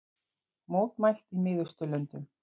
Mótmælt í Miðausturlöndum